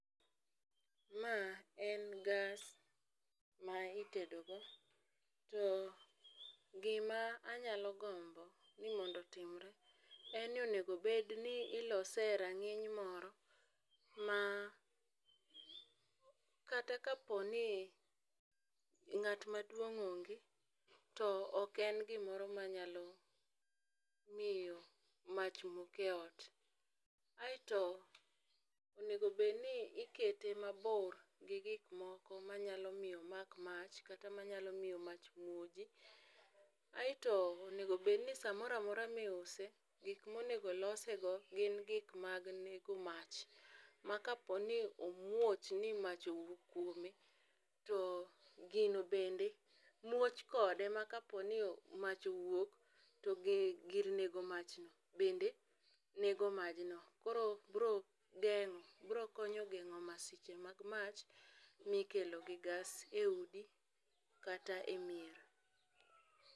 Ma en gas ma itedo go to gima anyalo gombo ni mondo otimre en ni, onego bed ni ilose e rang'iny moro ma kata kapo ni ng'at maduong' onge to ok en gima nyalo miyo mach mok eot. Aeto onego bed ni ikete mabor gi gik moko manyalo miyo omak mach kata manyalo miyo mach muoji. Ateo onego bed ni samoramora miuse gik monego olose go gin gik mag nengo mach ma kapo ni omuch ni mach owuok kuome to gino bende muoch kode ma kapo ni mach owuok to gir nego mach no bende nengo maj no . Koro bro geng'o bro konyo geng'o masiche mag mach mikelo gi gas e udi kata e mier.